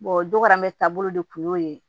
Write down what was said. o doro an bɛ taabolo de kun y'o ye